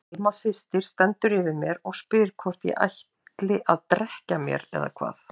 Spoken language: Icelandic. Alma systir stendur yfir mér og spyr hvort ég ætli að drekkja mér eða hvað.